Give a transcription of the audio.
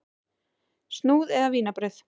Snúð eða vínarbrauð?